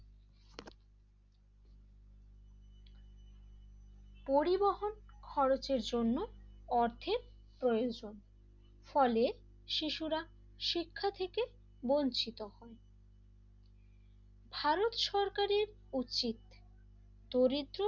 পরিবহন খরচের জন্য অর্থে প্রয়োজন ফলে শিশুরা শিক্ষা থেকে বঞ্চিত হন ভারত সরকারের উচিত দরিদ্র,